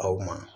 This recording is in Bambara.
Aw ma